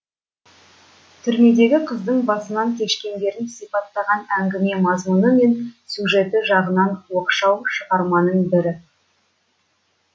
түрмедегі қыздың басынан кешкендерін сипаттаған әңгіме мазмұны мен сюжеті жағынан оқшау шығарманың бірі